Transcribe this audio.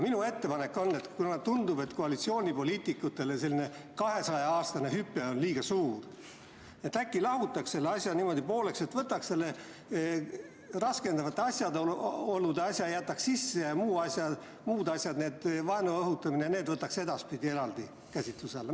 Minu ettepanek on, et kuna koalitsioonipoliitikutele tundub selline 200-aastane hüpe liiga suur, siis äkki teeks selle asja niimoodi pooleks, et raskendavate asjaolude sätte jätaks sisse ja muu, sh vaenu õhutamise sätte, võtaks edaspidi eraldi käsitluse alla.